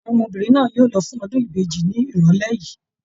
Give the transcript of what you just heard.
Àwọn ọmọbìnrin náà yóò lọ fún ọdún ìbejì ni irọlẹ yìí.